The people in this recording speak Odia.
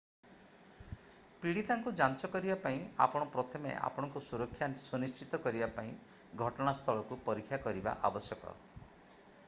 ପୀଡିତାଙ୍କୁ ଯାଞ୍ଚ କରିବା ପାଇଁ ଆପଣ ପ୍ରଥମେ ଆପଣଙ୍କ ସୁରକ୍ଷା ସୁନିଶ୍ଚିତ କରିବା ପାଇଁ ଘଟଣାସ୍ଥଳକୁ ପରୀକ୍ଷା କରିବା ଆବଶ୍ୟକ